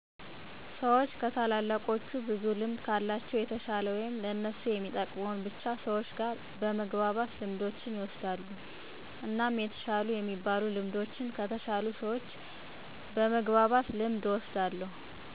ሰዎች ከታላላቆቹ ብዙ ልምድ ከለቸው የተሸለ ወይም ለእነሱ የሚጠቅመውን ብቻ ሰዎች ጋር በመግባባት ልምዶችን ይወስዳሉ። እናም የተሻሉ የሚበሉ ልምዶችን ከተሸሉ ሰዎች በመግባባት ልምድ እወስዳለሁ